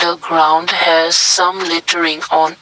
the ground has some littering on it.